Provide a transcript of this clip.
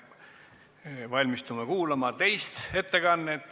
Me valmistume kuulama teist ettekannet.